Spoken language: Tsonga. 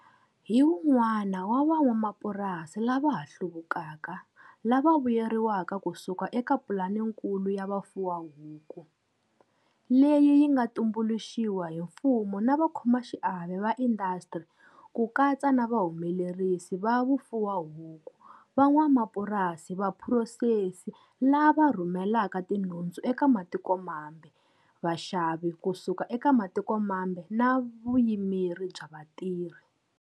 Hi un'wana wa van'wamapurasi lava ha hluvukaka lava vuyeriwaka kusuka eka Pulanikulu ya Vufuwahuku, leyi yi nga tumbuluxiwa hi mfumo na vakhomaxiave va indasitiri, ku katsa na va humelerisi va vufuwahuku, van'wamapurasi, vaphurosesi, lava rhumelaka tinhundzu eka matikomambe, vaxavi kusuka eka matiko mambe na vuyimeri bya vatirhi.